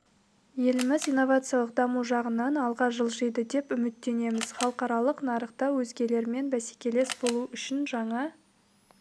еліміз инновациялық даму жағынан алға жылжиды деп үміттенеміз халықаралық нарықта өзгелермен бәсекелес болу үшін жаңа